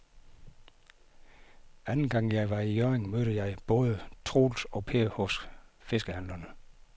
Anden gang jeg var i Hjørring, mødte jeg både Troels og Per hos fiskehandlerne.